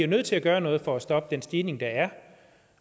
nødt til at gøre noget for at stoppe den stigning der er